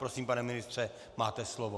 Prosím, pane ministře, máte slovo.